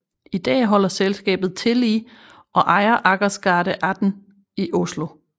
I dag holder selskabet til i og ejer Akersgata 18 i Oslo